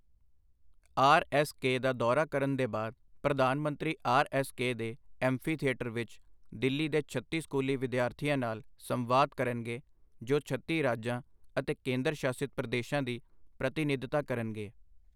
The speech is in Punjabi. ਆਰ ਐੱਸ ਕੇ ਦਾ ਦੌਰਾ ਕਰਨ ਦੇ ਬਾਅਦ ਪ੍ਰਧਾਨ ਮੰਤਰੀ ਆਰ ਐੱਸ ਕੇ ਦੇ ਐਂਫੀਥਿਏਟਰ ਵਿੱਚ ਦਿੱਲੀ ਦੇ ਛੱਤੀ ਸਕੂਲੀ ਵਿਦਿਆਰਥੀਆਂ ਨਾਲ ਸੰਵਾਦ ਕਰਨਗੇ, ਜੋ ਛੱਤੀ ਰਾਜਾਂ ਅਤੇ ਕੇਂਦਰ ਸ਼ਾਸਿਤ ਪ੍ਰਦੇਸ਼ਾਂ ਦੀ ਪ੍ਰਤੀਨਿਧਤਾ ਕਰਨਗੇ।